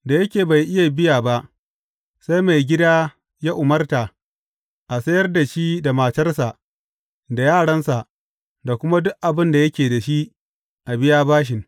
Da yake bai iya biya ba, sai maigida ya umarta a sayar da shi da matarsa da yaransa da kuma duk abin da yake da shi, a biya bashin.